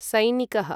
सैनिकः